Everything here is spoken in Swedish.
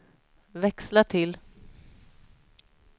växla till